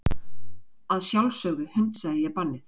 Að sjálfsögðu hundsaði ég bannið.